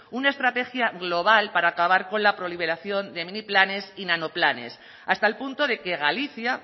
una estrategia global para acabar con la proliferación de mini planes y nanoplanes hasta el punto de que galicia